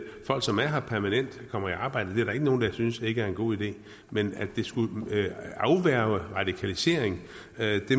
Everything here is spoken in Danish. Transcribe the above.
folk som er her permanent kommer i arbejde det er der ikke nogen der synes ikke er en god idé men at det skulle afværge radikalisering